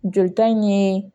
Jolita in ye